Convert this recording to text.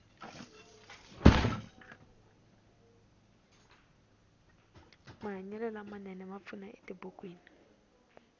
mahanyelo lama nene ma pfuna etibukwini